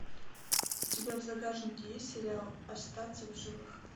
у тебя в загашнике есть сериал остаться в живых